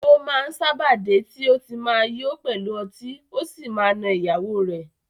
O máa m sábà dé ti o ma ti yo pẹlu ọtí ọ sí ma na ìyàwó rẹ.